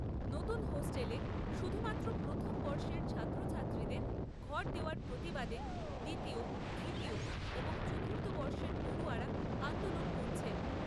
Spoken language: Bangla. নতুন হোস্টেলে শুধুমাত্র প্রথমবর্ষের ছাত্রছাত্রীদের ঘর দেওয়ার প্রতিবাদে দ্বিতীয়, তৃতীয় এবং চতুর্থ বর্ষের পড়ুয়ারা আন্দোলন করছেন।